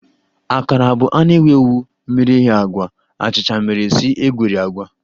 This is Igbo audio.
Akara bụ a na-ewu ewu miri eghe agwa achicha mere si egweri agwa